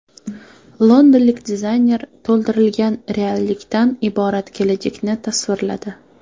Londonlik dizayner to‘ldirilgan reallikdan iborat kelajakni tasvirladi .